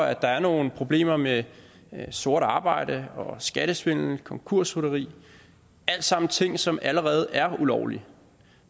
at der er nogle problemer med sort arbejde skattesvindel konkursrytteri alle sammen ting som allerede er ulovlige